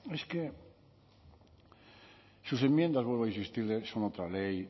es que sus enmiendas vuelvo a insistirle son otra ley